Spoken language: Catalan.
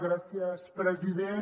gràcies president